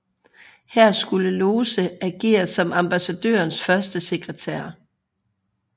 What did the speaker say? Her skulle Lose agere som ambassadørens førstesekretær